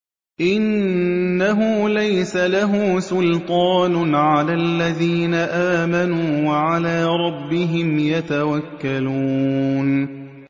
إِنَّهُ لَيْسَ لَهُ سُلْطَانٌ عَلَى الَّذِينَ آمَنُوا وَعَلَىٰ رَبِّهِمْ يَتَوَكَّلُونَ